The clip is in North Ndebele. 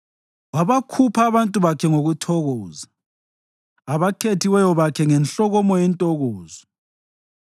Wabakhupha abantu bakhe ngokuthokoza, abakhethiweyo bakhe ngenhlokomo yentokozo.